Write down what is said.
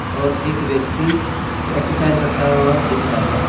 और एक व्यक्ति एक्सरसाइज करता हुआ दिख रहा है।